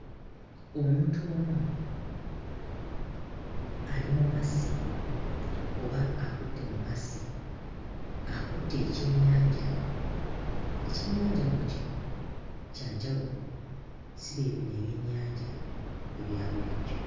Omuntu omu ali mu mazzi oba akutte mu mazzi, akutte ekyennyanja, ekyennyanja nno kino kya njawulo si bye bino ebyennyanja ebya bulijjo.